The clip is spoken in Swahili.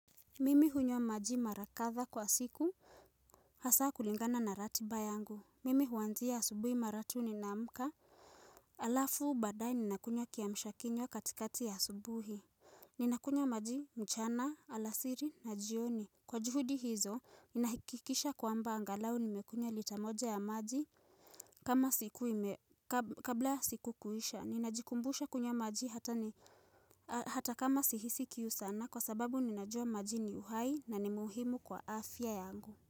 Mimi hunywa maji mara kadha kwa siku hasa kulingana na ratiba yangu. Mimi huanzia asubuhi mara tu ninamka. Alafu badae ninakunywa kiamshakinywa katikati ya asubuhi. Ninakunywa maji mchana, alasiri na jioni. Kwa juhudi hizo, ninahakikisha kwamba angalau nimekunywa lita moja ya maji kama siku ime kabla siku kuisha. Ninajikumbusha kunywa maji hata ni hata kama sihisi kiu sana kwa sababu ninajua maji ni uhai na ni muhimu kwa afya yangu.